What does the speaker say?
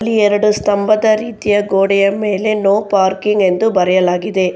ಎರಡು ಸ್ತಂಭದ ರೀತಿಯ ಗೋಡೆಯ ಮೇಲೆ ನೋ ಪಾರ್ಕಿಂಗ್ ಎಂದು ಬರೆಯಲಾಗಿದೆ.